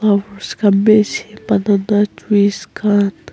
khan bi ase banana trees khan.